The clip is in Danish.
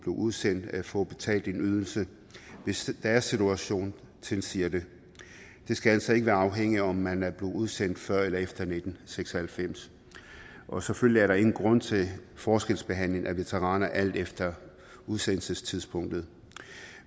udsendt får udbetalt en ydelse hvis deres situation tilsiger det det skal altså ikke afhænge af om man er blevet udsendt før eller efter nitten seks og halvfems og selvfølgelig er der ingen grund til forskelsbehandling af veteraner alt efter udsendelsestidspunktet